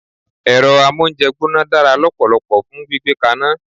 Èro amóúnjegbóná dára lópòlopò fun gbígbé kaná